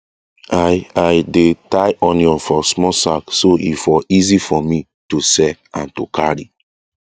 i i dey tie onion for small sack so e for easy for me to sell and to carry